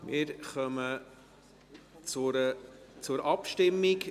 Wir kommen zur Abstimmung.